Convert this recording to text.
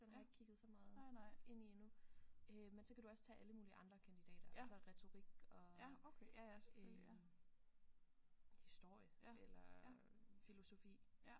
Den har jeg ikke kigget så meget ind i endnu øh men så kan du også tage alle mulige andre kandidater altså retorik og øh historie eller filosofi